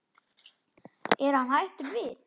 Er hann hættur við?